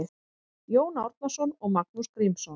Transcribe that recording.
Jón Árnason og Magnús Grímsson